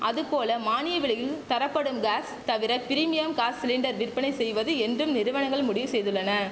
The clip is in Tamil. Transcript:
அதுபோல மானிய விலையின் தரப்படும் காஸ் தவிர பிரிமியம் காஸ் சிலிண்டர் விற்பனை செய்வது என்றும் நிறுவனங்கள் முடிவு செய்துள்ளன